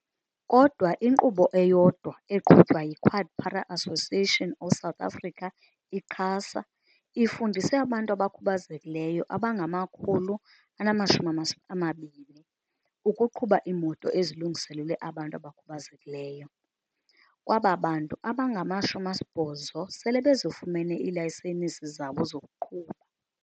Kodwa inkqubo eyodwa eqhutywa yi-QuadPara Association of South Africa, i-QASA, ifundise abantu abakhubazekileyo abangama-120 ukuqhuba iimoto ezilungiselelwe abantu abakhubazekileyo, kwaba bantu abangama-80 sele bezifumene iilayisenisi zabo zokuqhuba.